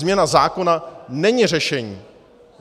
Změna zákona není řešení.